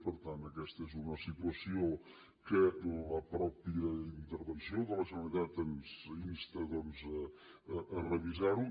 per tant aquesta és una situació en què la mateixa intervenció de la generalitat ens insta a revisar ho